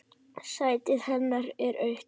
Sætið hennar autt.